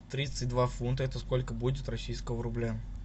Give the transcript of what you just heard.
тридцать два фунта это сколько будет российского рубля